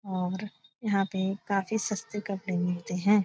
और यहाँ पे काफी सस्ते कपड़े मिलते है।